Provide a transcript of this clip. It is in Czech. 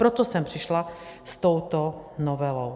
Proto jsem přišla s touto novelou.